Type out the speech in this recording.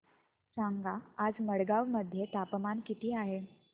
सांगा आज मडगाव मध्ये तापमान किती आहे